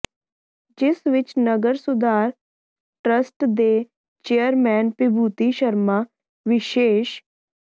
ਜਿਸ ਵਿੱਚ ਨਗਰ ਸੁਧਾਰ ਟਰੱਸਟ ਦੇ ਚੇਅਰਮੈਨ ਵਿਭੂਤੀ ਸ਼ਰਮਾ ਵਿਸ਼ੇਸ਼